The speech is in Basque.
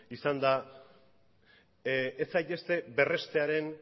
izan da ez zaitezte berrestearen